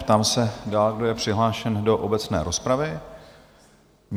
Ptám se, kdo je dál přihlášen do obecné rozpravy?